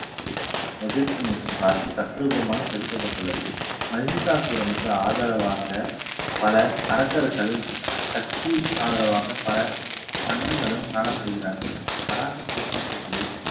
எதிர்த்து நிற்கும் காட்சி தத்ரூபமாக செதுக்கப்பட்டுள்ளது. மகிஷாசுரனுக்கு ஆதரவாக பல அரக்கர்கள் சக்தி ஆதரவாக பலர் கன்னங்களும் காணப்படுகிறார்கள். வராக சிற்ப பகுதியில்